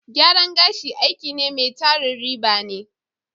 Gyaran gashi aiki ne mai tarin riba ne.